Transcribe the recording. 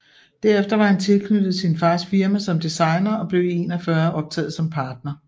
Derefter var han tilknyttet sin fars firma som designer og blev i 1941 optaget som partner